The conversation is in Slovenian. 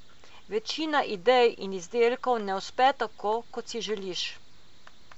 Večina idej in izdelkov ne uspe tako, kot si želiš.